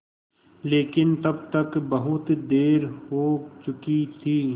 लेकिन तब तक बहुत देर हो चुकी थी